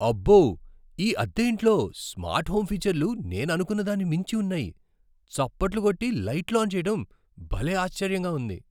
అబ్బో, ఈ అద్దె ఇంట్లో స్మార్ట్ హోమ్ ఫీచర్లు నేను అనుకున్న దాన్ని మించి ఉన్నాయి. చప్పట్లు కొట్టి, లైట్లు ఆన్ చేయటం భలే ఆశ్చర్యంగా ఉంది!